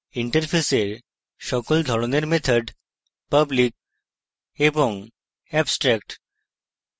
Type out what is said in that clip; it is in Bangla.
interface সকল ধরনের methods public এবং abstract